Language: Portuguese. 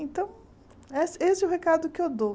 Então, essa esse é o recado que eu dou.